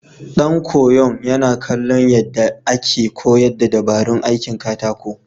Ɗan koyon yana kallon yadda yake koyar da dabarun aikin katako.